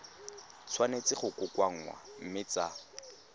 tshwanetse go kokoanngwa mme tsa